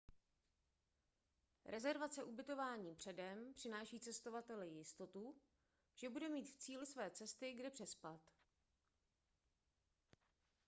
rezervace ubytování předem přináší cestovateli jistotu že bude mít v cíli své cesty kde přespat